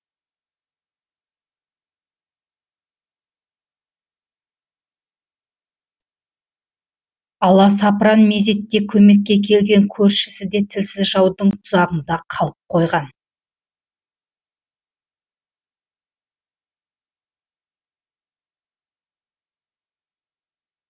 аласапыран мезетте көмекке келген көршісі де тілсіз жаудың тұзағында қалып қойған